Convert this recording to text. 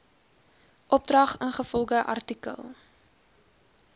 opdrag ingevolge art